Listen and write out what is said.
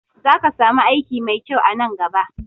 Za ka samu aiki mai kyau a nan gaba